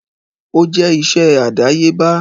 Ó jẹ́ iṣẹ́ àdáyébá.